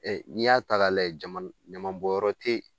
n'i y'a ta ka lajɛ jamana ɲamabɔnyɔrɔ te yen